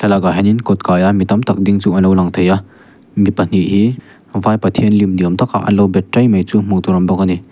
hianin kawt kaia mi tamtak ding chu an lo lang thei a mi pahnih hi vai pathian lim ni awm takah an lo bet tai mai chu hmuh tur a awm bawk ani.